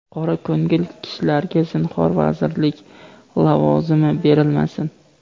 qora ko‘ngil kishilarga zinhor vazirlik (lavozimi) berilmasin.